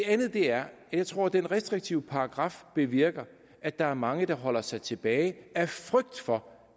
andet er at jeg tror at den restriktive paragraf bevirker at der er mange der holder sig tilbage af frygt for